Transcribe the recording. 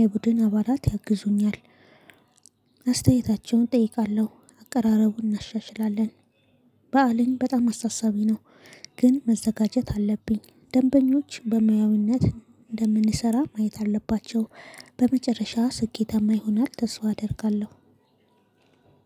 የቡድን አባላት ያግዙኛል። አስተያየታቸውን እጠይቃለሁ አቀራረቡን እናሻሽላለን። በአለም በጣም አስተሳሰቢ ነው። ግን መዘጋጀት አለብኝ ደንበኞች በሙያዊነት እንደምንሰራ ማየት አለባቸው። በመጨረሻ ስኬታማ ይሆናል ተስፋ አደርጋለሁ።